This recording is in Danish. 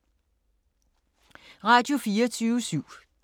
Radio24syv